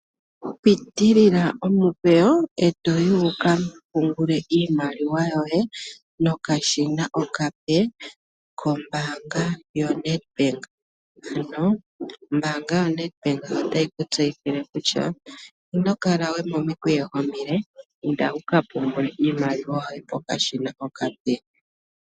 Pitilila omikweyo, e to yi wu ka pungule iimaliwa yoye nokashina okape kombaanga yoNedbank. Ombaanga yoNedbank otayi ku tseyithile kutya ino kala we momikweyo omile inda wuka pungule iimaliwa yoye pokashina okape.